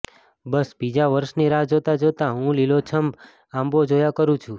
બસ બીજા વર્ષની રાહ જોતાં જોતાં હું લીલોછમ આંબો જોયા કરું છું